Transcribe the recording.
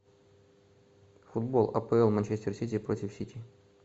футбол апл манчестер сити против сити